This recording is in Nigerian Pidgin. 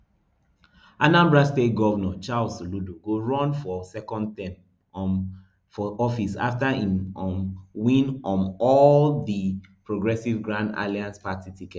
anambra state govnor charles soludo go run for second term um for office afta im um win um win di all progressives grand alliance party ticket